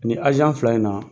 Nin fila in na